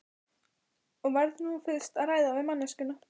Ég verð nú fyrst að ræða við manneskjuna.